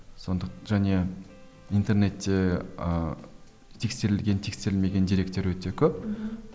және интернетте ыыы тексерілген тексерілмеген деректер өте көп мхм